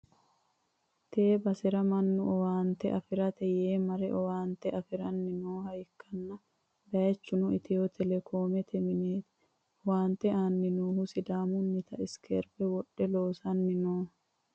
tee basera mannu owaante afi'rate yee mare owaante afi'ranni nooha ikkanna, bayichuno itiyo telekoomete mineeti, owaante aanni noohuno sidaamunnita isikeerebe wodhe loosanni no.